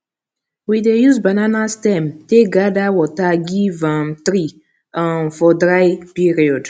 we dey use banana stem take gather water give um tree um for dry period